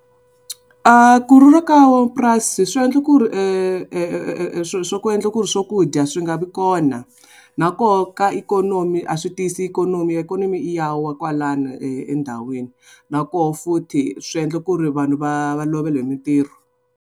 A ku rhurha ka van'wamapurasi swi endla ku ri endla ku ri swakudya swi nga vi kona. Na koho ka ikhonomi a swi tiyisi ikhonomi, ikhonomi ya wa kwalano endhawini na koho futhi swi endla ku ri vanhu va va lovela hi mintirho.